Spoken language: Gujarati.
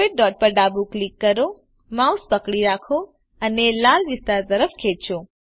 સફેદ ડોટ પર ડાબું ક્લિક કરો માઉસ પકડી રાખો અને લાલ વિસ્તાર તરફ ખેચો